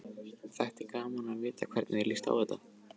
Þætti gaman að vita hvernig þér líst á þetta?